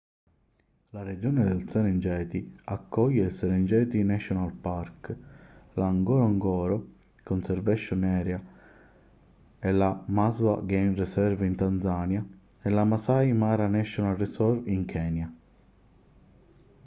la regione del serengeti accoglie il serengeti national park la ngorongoro conservation area e la maswa game reserve in tanzania e la maasai mara national reserve in kenya